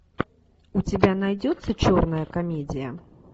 у тебя найдется черная комедия